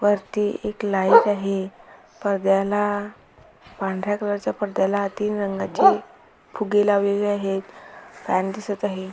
वरती एक लाईट आहे पडद्याला पांढऱ्या कलरच्या पडद्याला तीन रंगाचे फुगे लावलेले आहेत फॅन दिसत आहे.